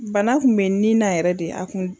Bana kun bɛ n ni na yɛrɛ de a kun.